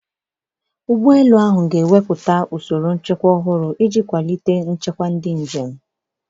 Ụgbọ elu ahụ ga-ewepụta usoro nchekwa ọhụrụ iji kwalite nchekwa ndị njem.